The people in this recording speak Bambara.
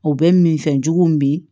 O bɛ minfɛn jugu min